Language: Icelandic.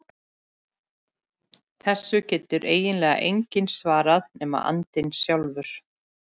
Þessu getur eiginlega enginn svarað nema andinn sjálfur.